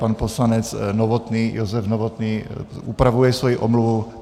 Pan poslanec Novotný, Josef Novotný, upravuje svoji omluvu.